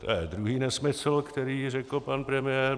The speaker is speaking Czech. To je druhý nesmysl, který řekl pan premiér.